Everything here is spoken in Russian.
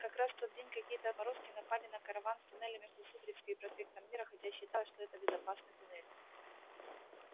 как раз в тот день какие-то отморозки напали на караван в туннеле между сухаревской и проспектом мира хотя считалось что это безопасный туннель